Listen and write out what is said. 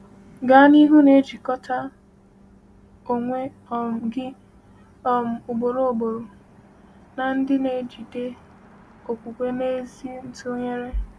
Gaa n’ihu na-ejikọta onwe um gị um ugboro ugboro na ndị na “ejide okwukwe na ezi ntụnyere.”